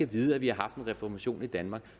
vide at vi har haft en reformation i danmark